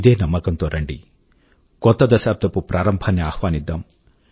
ఇదే నమ్మకం తో రండి కొత్త దశాబ్దపు ప్రారంభాన్ని ఆహ్వానిద్దాం